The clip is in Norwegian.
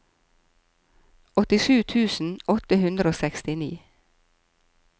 åttisju tusen åtte hundre og sekstini